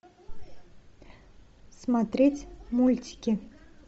смотреть мультики